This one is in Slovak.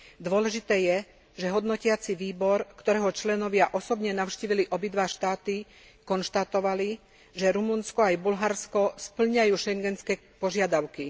Dôležité je, že hodnotiaci výbor, ktorého členovia osobne navštívili obidva štáty, konštatovali, že Rumunsko aj Bulharsko spĺňajú Schengenské požiadavky.